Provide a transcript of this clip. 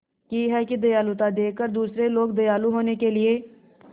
की है कि दयालुता देखकर दूसरे लोग दयालु होने के लिए